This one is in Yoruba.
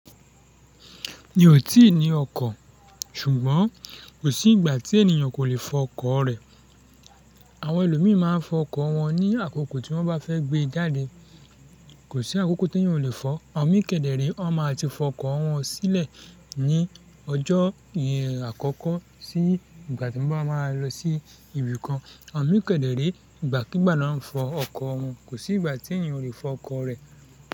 Mi ò tí ì ní ọkọ̀, ṣùgbọ́n kò sí ìgbà tí ènìyàn kò lè fọ ọkọ̀ rẹ̀. Àwọn ẹlòmíì máa ń fọ ọkọ̀ wọn ní àkókò tí wọ́n bá fẹ́ gbé e jáde. Kò sí àkókò tí ènìyàn ò lè fọ, awọn mí kẹdẹre, wọ́n máa ti fọ ọkọ̀ wọn sílẹ̀ ní ọjọ́ àkọ́kọ́ sí ìgbà tí wọ́n bá máa lọ sí ibì kan. Awọn mí kẹdẹre, ìgbà kigbà náà ń fọ ọkọ̀ wọn, kò sí ìgbà tí ènìyàn ò lè fọ ọkọ̀ rẹ̀